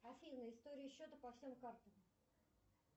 афина история счета по всем картам